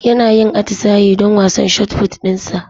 Yana yin atisaye don wasan shotput dinsa